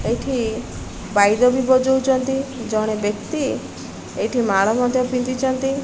ଏଇଠି ବାଇଦ ବି ବଜଉଚନ୍ତି ଜଣେ ବ୍ୟକ୍ତି ଏଇଠି ମାଳ ମଧ୍ୟ ପିନ୍ଧିଚନ୍ତି।